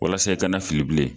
Walasa i kana fili bilen